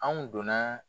Anw donna